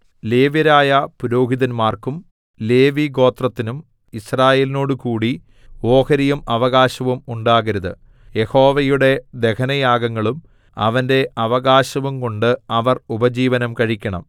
ലേവ്യരായ പുരോഹിതന്മാർക്കും ലേവിഗോത്രത്തിനും യിസ്രായേലിനോടുകൂടി ഓഹരിയും അവകാശവും ഉണ്ടാകരുത് യഹോവയുടെ ദഹനയാഗങ്ങളും അവന്റെ അവകാശവുംകൊണ്ട് അവർ ഉപജീവനം കഴിക്കണം